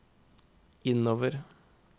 innover